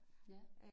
Ja